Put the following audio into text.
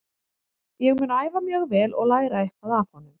Ég mun æfa mjög vel og læra eitthvað af honum.